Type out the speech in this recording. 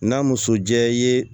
N'a muso jɛ i ye